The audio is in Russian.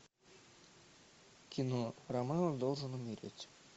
кино ромео должен умереть